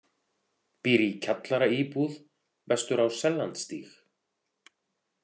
Býr í kjallaraíbúð vestur á Sellandsstíg